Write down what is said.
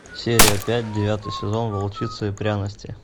серия пять девятый сезон волчица и пряности